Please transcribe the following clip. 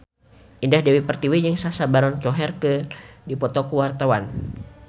Indah Dewi Pertiwi jeung Sacha Baron Cohen keur dipoto ku wartawan